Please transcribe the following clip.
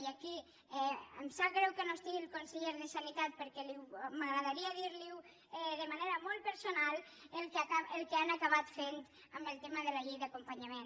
i aquí em sap greu que no hi hagi el conseller de sanitat perquè m’agradaria dir li de manera molt personal el que han acabat fent en el tema de la llei d’acompanyament